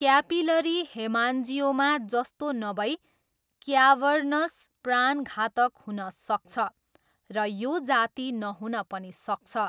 Capillary haemangioma जस्तो नभई cavernous प्राणघातक हुन सक्छ र यो जाती नहुन पनि सक्छ।